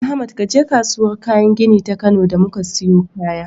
Ahmad kaje kasuwar kayan gini ta Kano da muka siyo kaya.